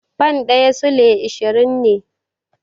Fan ɗaya Sulai ashirin ne